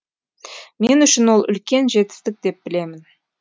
мен үшін ол үлкен жетістік деп білемін